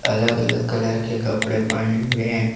अलग अलग कलर के कपड़े पहने हुए है।